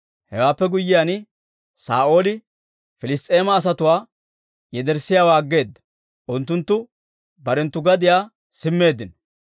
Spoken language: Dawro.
Hewaappe guyyiyaan, Saa'ooli Piliss's'eema asatuwaa yederssiyaawaa aggeeda; unttunttu barenttu gadiyaa simmeeddino.